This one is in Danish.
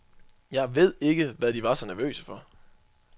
Jeg ved ikke hvad de var så nervøse for.